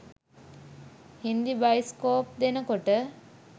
Hindi bioscope දෙනකොට